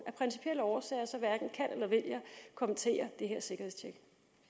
af principielle årsager hverken kan eller vil kommentere sikkerhedstjekket